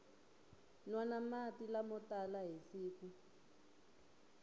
nwana mati lamo tala hi siku